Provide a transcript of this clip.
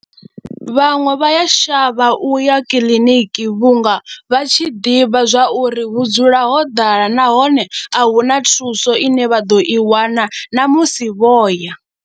Vhaṅwe vha ya shavha u ya kiḽiniki vhunga vha tshi ḓivha zwa uri hu dzula ho ḓala nahone a hu na thuso ine vha ḓo i wana na musi vho ya.